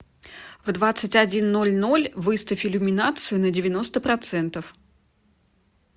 в двадцать один ноль ноль выставь иллюминацию на девяносто процентов